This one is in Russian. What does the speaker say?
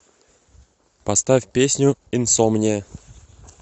поставь песню инсомния